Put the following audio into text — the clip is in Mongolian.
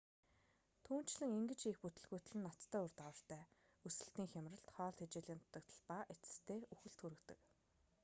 түүнчлэн ингэж хийх бүтэлгүйтэл нь ноцтой үр дагавартай өсөлтийн хямралт хоол тэжээлийн дутагдал ба эцэстээ үхэлд хүргэдэг